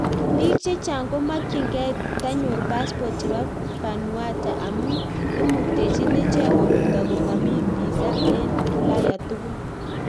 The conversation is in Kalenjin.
Piik chechang komakyin gei tanyor passport chepo vanuata amuu imuktechin icheek korutoo komamii pisaa eng ulaya tugul